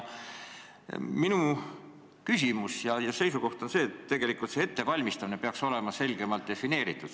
Minu seisukoht on, et see "ettevalmistamine" peaks olema selgemalt defineeritud.